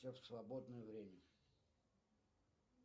в свободное время